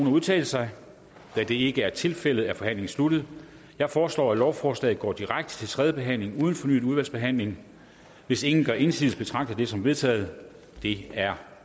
at udtale sig og da det ikke er tilfældet er forhandlingen sluttet jeg foreslår at lovforslaget går direkte til tredje behandling uden fornyet udvalgsbehandling hvis ingen gør indsigelse betragter jeg det som vedtaget det er